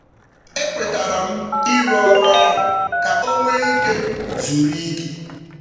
Ekwetaram ịrụ ọrụ ahụ ka onwee ike zuru ike